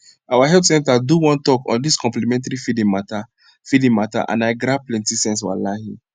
our health center do one talk on dis complementary feeding mata feeding mata and i grab plenty sense walahi